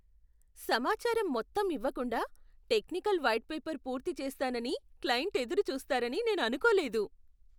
సమాచారం మొత్తం ఇవ్వకుండా, టెక్నికల్ వైట్ పేపర్ పూర్తి చేస్తానని క్లయింట్ ఎదురు చూస్తారని నేను అనుకోలేదు.